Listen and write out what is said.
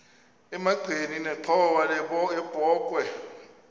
emagxeni nenxhowa yebokhwe